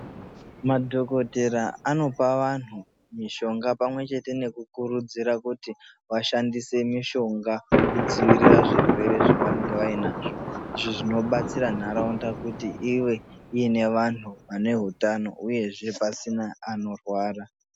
Madhokodheya anopa antu mushonga pamwe chete nekukurudzira kuti vashandise mushonga kudzivirira zvirwere zvavanenge vainazvo izvo zvinodetsera ntaraunda kuti ive ine vanhu vane hutano uyezve pasina anorwara.